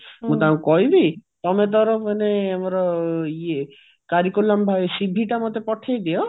ମୁଁ ତାଙ୍କୁ କହିବି ତମେ ତାର ମାନେ ଆମର curriculum CV ଟା ମତେ ପଠେଇ ଦିଅ